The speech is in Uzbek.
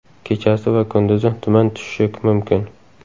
Kechasi va kunduzi tuman tushishi mumkin.